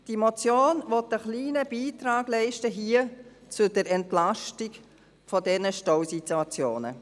Die Motion möchte einen kleinen Beitrag leisten zur Entlastung dieser Stausituationen.